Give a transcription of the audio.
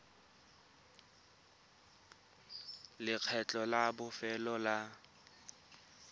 le lekgetho la bofelo la